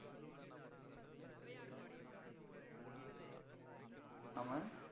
ஹம் நாம